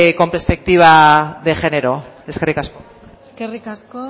con perspectiva de género eskerrik asko eskerrik asko